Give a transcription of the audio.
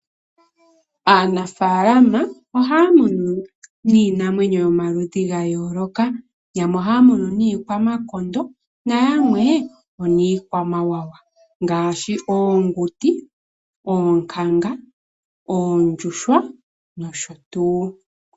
Aanafalama ohaya munu niinamwenyo ya yooloka, yamwe ohaya munu niikwamakondo nayamwe, ooniikwamawawa ngaashi oonguti, oonkanga, oondjuhwa nosho tuu.